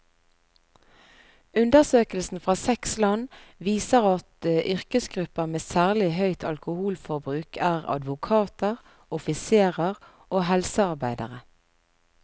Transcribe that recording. Undersøkelsen fra seks land viser at yrkesgrupper med særlig høyt alkoholforbruk er advokater, offiserer og helsearbeidere.